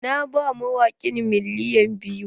Na ba mawaƙin miliyan biyu.